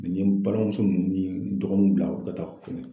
Mɛ n ye balimamuso ninnu ni n dɔgɔninw bila u ka taa fɛnɛ